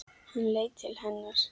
Hann leit til hennar.